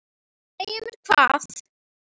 Segja mér hvað?